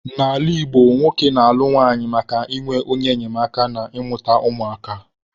N'ala Igbo, nwoke na-alụ nwunye maka inwe onye enyemaka na ịmụta ụmụ aka